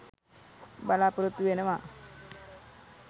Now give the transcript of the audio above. බලාපොරොත්තු වෙනවා